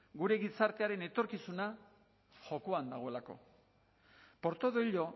gure gizartearen etorkizuna jokoan dagoelako por todo ello